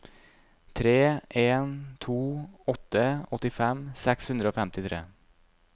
tre en to åtte åttifem seks hundre og femtitre